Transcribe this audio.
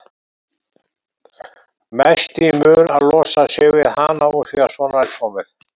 Mest í mun að losa sig við hana úr því að svona er komið.